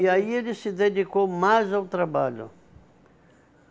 E aí ele se dedicou mais ao trabalho.